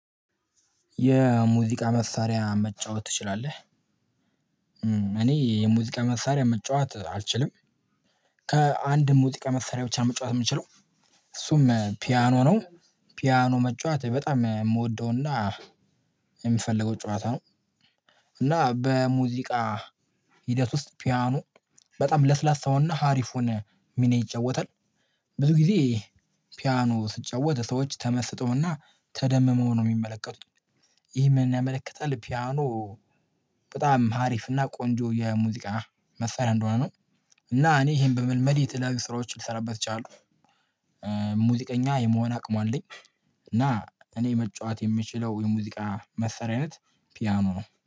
የሙዚቃ መሳሪያ መጫወት ትችላለህ? እኔ የሙዚቃ መሳሪያ መጫወት አልችልም ከአንድ ሙዚቃ መሳሪያ ብቻ መጫወት የምችለው እሱም ፒያኖ ነው ፒያኖ መጫወት በጣም የምወደው እና የሚፈልገው ጨዋታ ነው። እና በሙዚቃ ሂደት ውስጥ ፒያኖ በጣም ለስላሳውን እና ሃሪፉን ሚና ይጫወታል። ብዙ ጊዜ ፒያኖ ስጫወት ሰዎች ተመስጠው እና ተደምመው ነው የሚመለከቱኝ ይህ ምንን ያመለከታል ፒያኖ በጣም ሀሪፍና ቆንጆ የሙዚቃ መስራት እንደሆነ ነው። እና እኔ ይሄን በመልመድ የተለያዩ ስራዎች ልሰራበት እችላለሁ። ሙዚቀኛ የመሆን አቅሙ አለኝ እና እኔ መጫወት የምችለው የሙዚቃ መስሪያ አይነት ፒያኖ ነው።